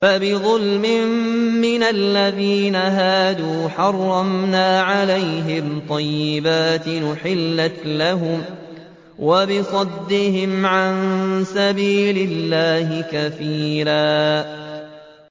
فَبِظُلْمٍ مِّنَ الَّذِينَ هَادُوا حَرَّمْنَا عَلَيْهِمْ طَيِّبَاتٍ أُحِلَّتْ لَهُمْ وَبِصَدِّهِمْ عَن سَبِيلِ اللَّهِ كَثِيرًا